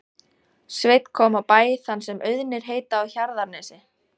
Sveinn kom á bæ þann sem Auðnir heita á Hjarðarnesi.